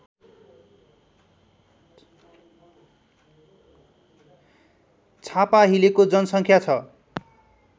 छापाहिलेको जनसङ्ख्या छ